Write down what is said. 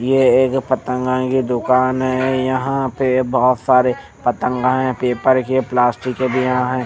ये एक पतंगा की दुकान हैं यहाँ पे बहुत सारे पतंगा है पेपर के प्लास्टिक के भी यहाँं हैं ।